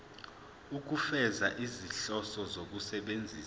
ukufeza izinhloso zokusebenzisa